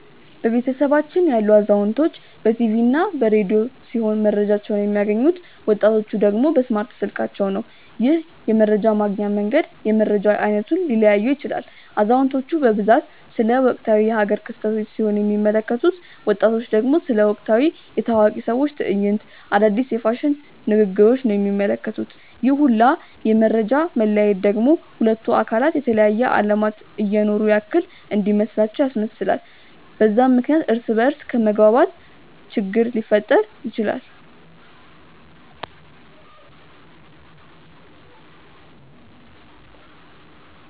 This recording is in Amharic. በቤተሰባችን ያሉት አዛውንቶች በ ቲቪ እና በ ረዲዮ ሲሆም መረጃቸውን የሚያገኙት፤ ወጣቲቹ ደግሞ በእስማርት ስልካቸው ነው። ይህም የመረጃ ማግኛ መንገድ የመረጃ አይነቱን ሊለያየው ይችላል። አዛውንቲቹ በብዛት ስለ ወቅታዊ የ ሃገር ክስተቶች ሲሆን የሚመለከቱት፤ ወጣቱ ደግሞ ስለ ወቅታዊ የ ታዋቂ ሰዎች ትዕይንቶች፣ አዳዲስ የ ፋሽን ንግግሪች ነው የሚመለከቱት፤ ይህ ሁላ የ መፈጃ መለያየት ደግሞ ሁለቱን አካላት የተለያየ አለማት እየኖሩ ያክል እንዲመስላቸው ያስመስላል፤ በዛም ምክንያት እርስ በ እርስ ከመግባባት ችግር ሊፈጠር ይችላል።